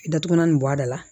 Datugulan nin bɔ a da la